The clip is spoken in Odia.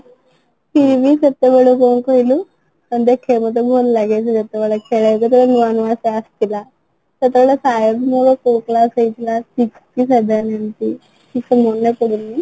ପିଇଲି ସେତେବେଳେ ଯାଇଁ କି କହିଲି ଦେଖିବାକୁ ଭଲ ଲାଗେ ସେ ଯେତେବେଳେ ଖେଳେ ଯେତେବେଳେ ନୂଆ ନୂଆ ସିଏ ଆସିଥିଲା ସେତେବେଳେ ମୋର କୋଉ class ହେଇଥିଲା sixth କି seventh ଏମିତି ସେତେ ମନେପଡ଼ୁନି